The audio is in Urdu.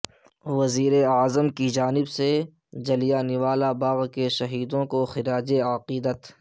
وزیر اعظم کی جانب سے جلیانوالہ باغ کے شہیدوں کو خراج عقیدت